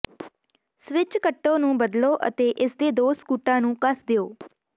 switch ਕੱਟੋ ਨੂੰ ਬਦਲੋ ਅਤੇ ਇਸਦੇ ਦੋ ਸਕੂਟਾਂ ਨੂੰ ਕੱਸ ਦਿਓ